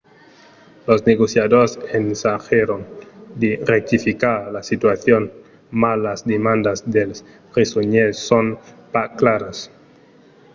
los negociadors ensagèron de rectificar la situacion mas las demandas dels presonièrs son pas claras